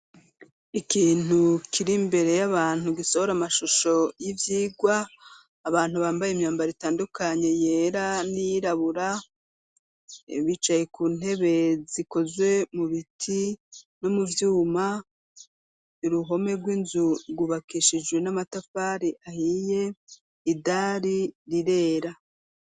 ikintu kirimbere y'abantu gisohora amashusho y'ivyigwa abantu bambaye imyambaro itandukanye yera n'irabura bicaye ku ntebe zikozwe mu biti nomuvyuma uruhome rw'inzu gubakeshijwe n'amatafari ahiye idari rirera